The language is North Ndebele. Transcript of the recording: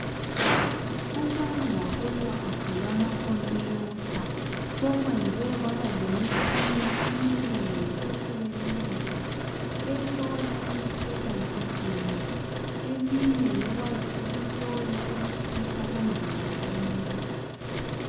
Ukwanda kolwazi lwamakhompuyutha sokwenze kwaba lemitshina eminengi ehlukeneyo ehlola imikhuhlane etshiyeneyo eminye ngekwazi ukuhlola ukutshisa komzimba womuntu.